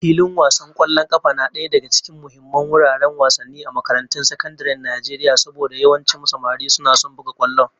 Filin wasan kwallon kafa na daya daga cikin muhimman wuraren wasanni a makarantun sakandaren Najeriya saboda yawancin samari suna son buga kwallo